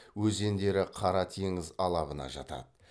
өзендері қара теңіз алабына жатады